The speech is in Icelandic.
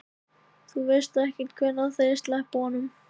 Þú veist ekkert hvenær þeir sleppa honum?